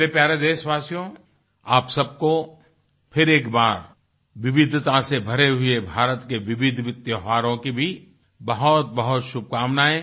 मेरे प्यारे देशवासियों आप सब को फिर एक बार विविधता से भरे हुए भारत के विविधविविध त्योहारों की भी बहुतबहुत शुभकामनाएं